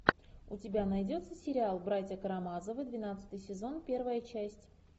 у тебя найдется сериал братья карамазовы двенадцатый сезон первая часть